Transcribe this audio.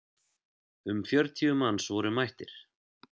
Um fjörutíu manns voru mættir.